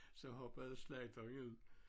Så hoppede slagteren ud